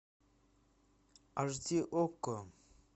аш ди окко